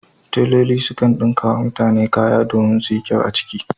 Teloli sukan ɗinka wa mutane kaya domin su yi kyau a ciki